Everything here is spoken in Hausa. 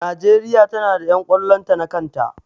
Najeriya ta na da ƴan ƙwallon ta na kan ta